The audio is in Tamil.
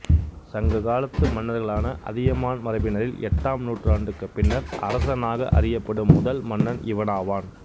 சங்க காலத்துக் மன்னர்களான அதியமான் மரபினரில் எட்டாம் நூற்றாண்டுக்குப் பின்னர் அரசனாக அறியப்படும் முதல் மன்னன் இவனாவான்